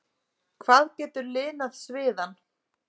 hvað getur linað sviðann?